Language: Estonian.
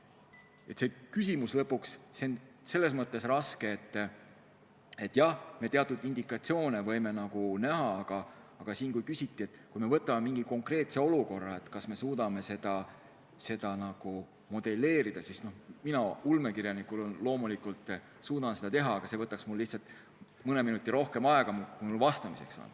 Aga küsimus on selles mõttes raske, et jah, teatud indikatsioone me võime näha, aga kui me võtame mingi konkreetse olukorra ja küsime, kas me suudame seda modelleerida, siis mina ulmekirjanikuna loomulikult suudan seda teha, aga see võtaks mul lihtsalt rohkem aega, kui mul praegu vastamiseks on.